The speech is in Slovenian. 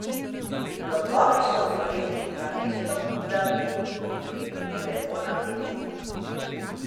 Plodovi so uveli, namesto da bi bili lepo napeti.